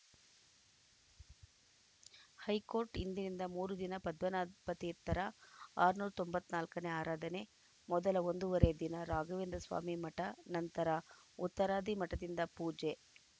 high court ಇಂದಿನಿಂದ ಮೂರು ದಿನ ಪದ್ಮನಾಭ ತೀರ್ಥರ ಆರುನೂರ ತೊಂಬತ್ತ್ ನಾಲ್ಕನೇ ಆರಾಧನೆ ಮೊದಲ ಒಂದೂವರೆ ದಿನ ರಾಘವೇಂದ್ರ ಸ್ವಾಮಿ ಮಠ ನಂತರ ಉತ್ತರಾದಿ ಮಠದಿಂದ ಪೂಜೆ